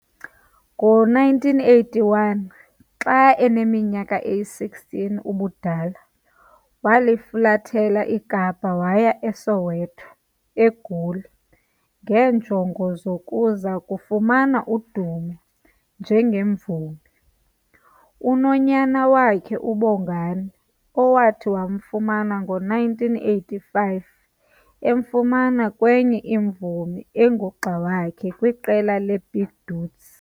Ngo-1981, xa aneminyaka eyi-16 ubudala, walifulathela iKapa waya eSoweto, eGoli, ngeenjongo zokuza kufumana udumo njengemvumi. Unonyana wakhe, uBongani, awathi wamfumana ngo-1985 emfumana kwenye imvumi engugxa wakhe kwiqela leBig Dudes.